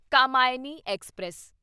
Kamayani express